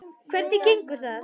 Hvernig gengur það?